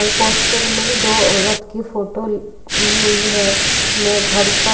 और पोस्टर में दो औरत की फोटो ल दी हुई है मैं घर पर --